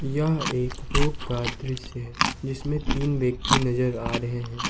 यह एक रोड का दृश्य है जिसमें तीन व्यक्ति नजर आ रहे हैं।